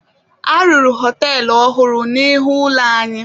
A rụrụ họtelụ ọhụrụ n'ihu ụlọ anyị.